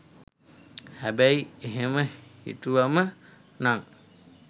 හැබැයි එහෙම හිතුවම නං